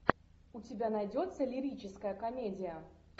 у тебя найдется лирическая комедия